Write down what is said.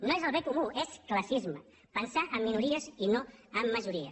no és el bé comú és classisme pensar en minories i no en majories